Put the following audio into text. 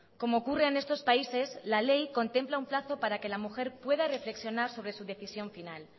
como ocurre en estos países la ley contempla un plazo para que la mujer pueda reflexionar sobre su decisión final